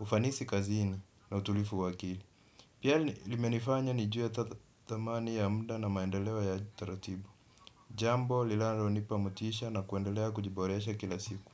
ufanisi kazini na utulivu wa akili. Pia limenifanya nijue dhamani ya muda na maendeleo ya taratibu. Jambo linalonipa motisha na kuendelea kujiboresha kila siku.